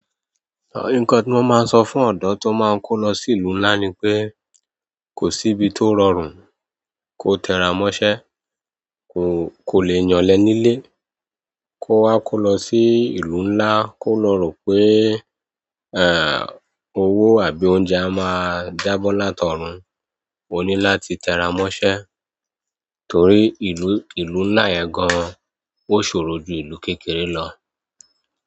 Nǹkan ti mo máa n so fún odò ti o máa n ko lo sí ìlú nlá ni pe, ko si ibi tó rọrùn, ko tẹra mọ iṣẹ́, ko le ya ole nílé kó wa kó lọ sí ìlú ńlá kó lo rò pé, owó àbí oúnjẹ á máa jábọ́ látọrun, ó ní láti tẹra mọ́ṣẹ́ torí ìlú, ìlú ńlá yẹn gan an ó ṣòro ju ìlú kékeré lọ.